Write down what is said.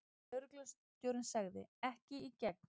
Lögreglustjórinn sagði: Ekki í gegn.